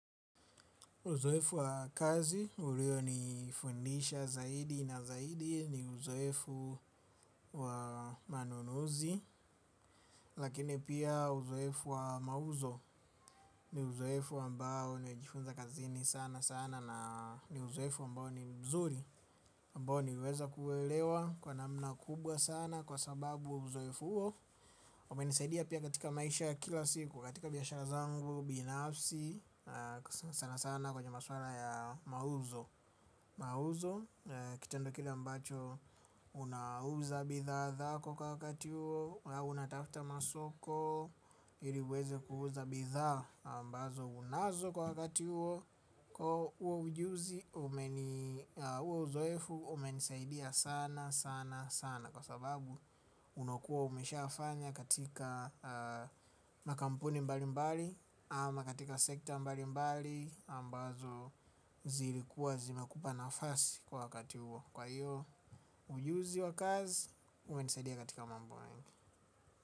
Uzoefu wa kazi, ulio ni fundisha zaidi na zaidi ni uzoefu wa manunuzi. Lakini pia uzoefu wa mauzo ni uzoefu ambao nimejifunza kazini sana sana. Na uzoefu ambao ni mzuri ambao nimeweza kuelewa kwa namna kubwa sana kwa sababu uzoefu huo umenisaidia pia katika maisha kila siku, katika biashara zangu, binafsi, sana sana kwenye maswala ya mauzo. Mauzo kitendo kile ambacho unauza bidhaa zako kwa wakati huo na unatafuta masoko ili uweze kuuza bidhaa ambazo unazo kwa wakati huo. Kwa huo ujuzi huo uzoefu umenisaidia sana sana sana. Kwa sababu unaokuwa umesha fanya katika makampuni mbali mbali ama katika sekta mbali mbali ambazo zilikuwa zimakupa nafasi kwa wakati huo. Kwa hiyo, ujuzi wa kazi umenisadia katika mambo mengi.